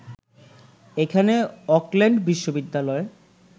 এখানে অকল্যান্ড বিশ্ববিদ্যালয়